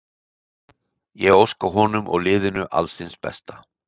Ég óska honum og liðinu alls hins besta.